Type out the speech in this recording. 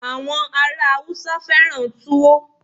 àwọn ará Hausa fẹràn tuwo